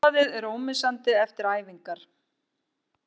Gufubaðið er ómissandi eftir æfingar